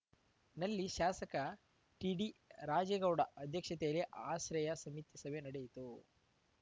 ನಲ್ಲಿ ಶಾಸಕ ಟಿಡಿರಾಜೇಗೌಡ ಅಧ್ಯಕ್ಷತೆಯಲ್ಲಿ ಆಶ್ರಯ ಸಮಿತಿ ಸಭೆ ನಡೆಯಿತು